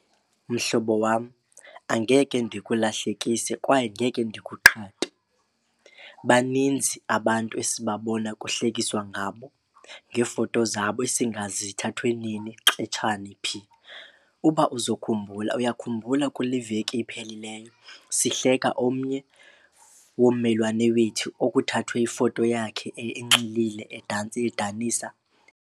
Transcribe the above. Mhlobo wam, angeke ndikulahlekise kwaye angeke ndikuqhathe. Baninzi abantu esibabona kuhlekiswa ngabo ngeefoto zabo esingazi zithathwe nini xetshani, phi. Uba uzokhumbula, uyakhumbula kule veki iphelileyo sihleka omnye wommelwane wethu okuthathwe ifoto yakhe enxilile edansa edanisa?